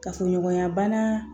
Kafoɲɔgɔnya bana